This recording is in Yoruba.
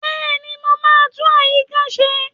Bẹ́ẹ̀ni, mo máa tún àyíká ṣe